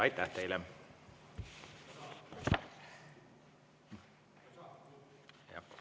Aitäh teile!